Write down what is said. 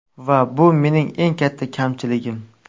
Va bu mening eng katta kamchiligim.